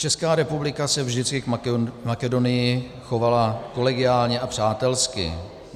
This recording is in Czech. Česká republika se vždycky k Makedonii chovala kolegiálně a přátelsky.